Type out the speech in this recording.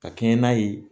Ka kɛɲɛ n'a ye